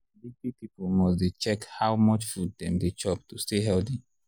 big big people must dey check how much food dem dey chop to stay healthy.